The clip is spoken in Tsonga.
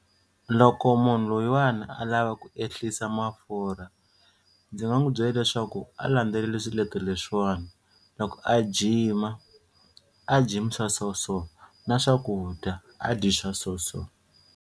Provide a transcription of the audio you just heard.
Loko munhu loyiwani a lava ku ehlisa mafurha ndzi nga n'wi byela leswaku a landzeleli swiletelo leswiwani loko a gym-a a gym swa so so na swakudya a dyi swa so so.